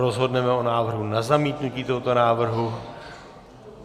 Rozhodneme o návrhu na zamítnutí tohoto návrhu.